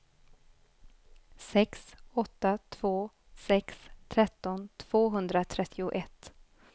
sex åtta två sex tretton tvåhundratrettioett